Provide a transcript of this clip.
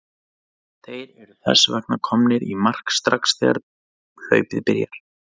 Þeir eru þess vegna komnir í mark strax þegar hlaupið byrjar!